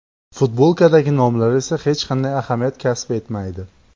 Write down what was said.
Futbolkadagi nomlar esa hech qanday ahamiyat kasb etmaydi.